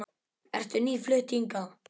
Ertu nýflutt hingað?